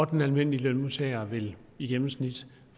den almindelige lønmodtager vil i gennemsnit